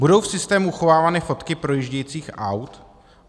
Budou v systému uchovávány fotky projíždějících aut?